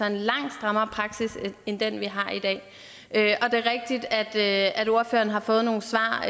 en langt strammere praksis end den vi har i dag det er rigtigt at at ordføreren har fået nogle svar